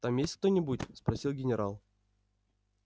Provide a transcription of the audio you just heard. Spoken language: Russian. там есть кто-нибудь спросил генерал